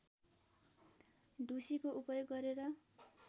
ढुसीको उपयोग गरेर